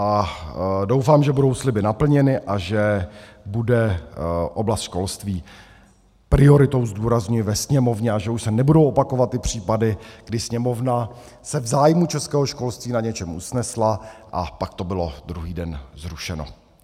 A doufám, že budou sliby naplněny a že bude oblast školství prioritou, zdůrazňuji ve Sněmovně, a že už se nebudou opakovat ty případy, kdy Sněmovna se v zájmu českého školství na něčem usnesla a pak to bylo druhý den zrušeno.